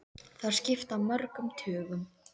Þær skipta mörgum tugum!